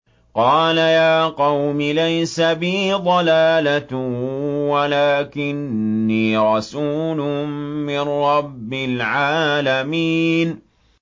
قَالَ يَا قَوْمِ لَيْسَ بِي ضَلَالَةٌ وَلَٰكِنِّي رَسُولٌ مِّن رَّبِّ الْعَالَمِينَ